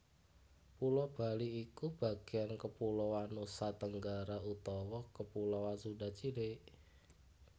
Pulo Bali iku bagéan kepuloan Nusatenggara utawa kepuloan Sunda cilik